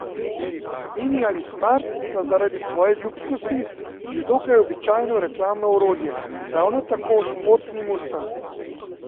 Mini ali smart sta zaradi svoje ljubkosti že dokaj običajno reklamno orodje, ravno tako športni mustang.